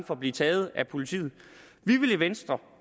for at blive taget af politiet vi i venstre